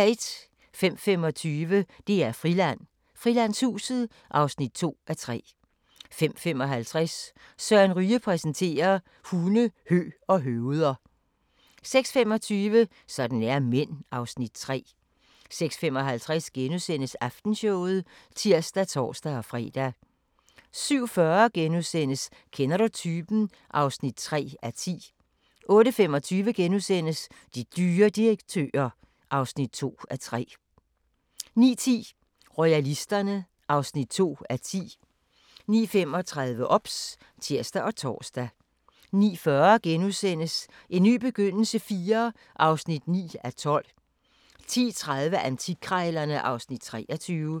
05:25: DR-Friland: Frilandshuset (2:3) 05:55: Søren Ryge præsenterer: Hunde, hø og høveder 06:25: Sådan er mænd (Afs. 3) 06:55: Aftenshowet *(tir og tor-fre) 07:40: Kender du typen? (3:10)* 08:25: De dyre direktører (2:3)* 09:10: Royalisterne (2:10) 09:35: OBS (tir og tor) 09:40: En ny begyndelse IV (9:12)* 10:30: Antikkrejlerne (Afs. 23)